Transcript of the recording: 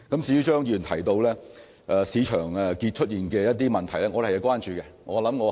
至於張議員提到市場出現的一些問題，我們是關注的。